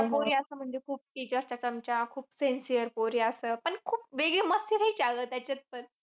पोरी असं म्हणजे खूप teachers च्या चमच्या. खूप sincere पोरी अश्या. पण खूप वेगळी मस्करी चालू असायची त्यातपण.